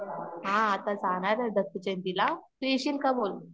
हा, आता जाणारे दत्त जयंती ला, तू येशील का बोल